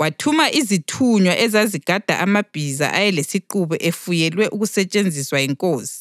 wathuma izithunywa ezazigada amabhiza ayelesiqubu efuyelwe ukusetshenziswa yinkosi.